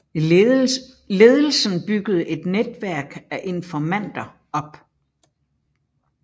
Ledelsen byggede et netværk af informanter op